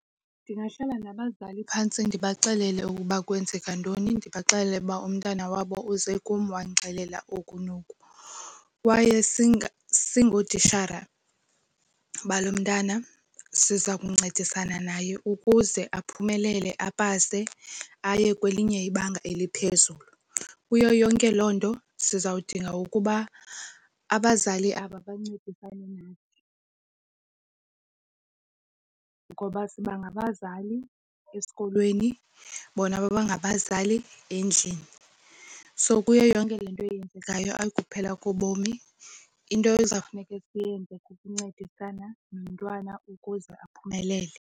Ndingahlala nabazali phantsi ndibaxelele ukuba kwenzeka ntoni. Ndibaxelele uba umntana wabo uze kum wandixelela oku noku. Kwaye singootitshala balo mntwana siza kuncedisana naye ukuze aphumelele, apase aye kwelinye ibanga eliphezulu. Kuyo yonke loo nto siza kudinga ukuba abazali aba bancedisane nathi, ngoba siba ngabazali esikolweni bona bangabazali endlini. So kuyo yonke le nto yenzekayo ayikokuphela kobomi, into ezawufuneka siyenze kukuncedisana nomntwana ukuze aphumelele.